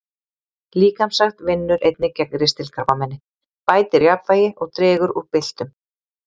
Líkamsrækt vinnur einnig gegn ristilkrabbameini, bætir jafnvægi og dregur úr byltum.